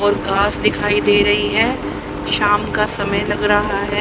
और घास दिखाई दे रही हैं शाम का समय लग रहा है।